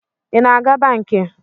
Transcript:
I na-aga banki?